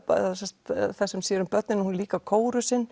þeirrar sem sér um börnin hún er líka